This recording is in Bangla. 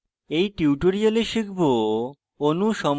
in tutorial শিখব